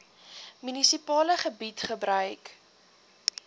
munisipale gebied gebruik